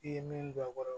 I ye min don a kɔrɔ